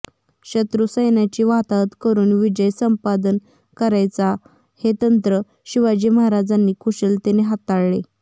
शत्रू सैन्याची वाताहत करून विजय संपादन करायचा हे तंत्र शिवाजी महाराजांनी कुशलतेने हाताळले